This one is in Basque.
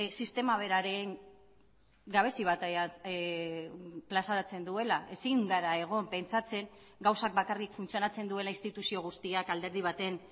sistema beraren gabezi bat plazaratzen duela ezin gara egon pentsatzen gauzak bakarrik funtzionatzen duela instituzio guztiak alderdi baten